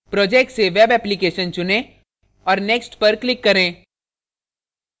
projects से web application चुनें और next पर click करें